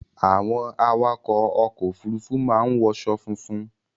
Àwọn awakọ̀ ọkọ Òfurufú máa ń wọṣọ funfun